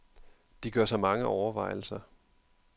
De gør sig mange overvejelser.